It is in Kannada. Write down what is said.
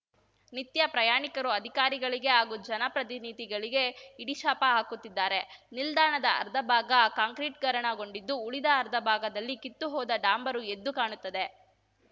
ನಿತ್ಯ ಪ್ರಯಾಣಿಕರು ಅಧಿಕಾರಿಗಳಿಗೆ ಹಾಗೂ ಜನಪ್ರತಿನಿಧಿಗಳಿಗೆ ಹಿಡಿಶಾಪ ಹಾಕುತ್ತಿದ್ದಾರೆ ನಿಲ್ದಾಣದ ಅರ್ಧಭಾಗ ಕಾಂಕ್ರೀಟಿಕರಣಗೊಂಡಿದ್ದು ಉಳಿದ ಅರ್ಧ ಭಾಗದಲ್ಲಿ ಕಿತ್ತುಹೋದ ಡಾಂಬರು ಎದ್ದು ಕಾಣುತ್ತದೆ